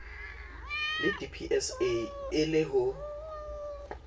le dpsa e le ho